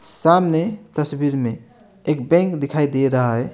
सामने तस्वीर में एक बैंक दिखाई दे रहा है।